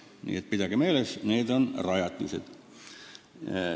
Nii et pidage meeles: need on rajatised!